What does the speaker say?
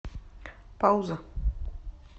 пауза